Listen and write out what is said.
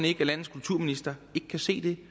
ikke at landets kulturminister ikke kan se det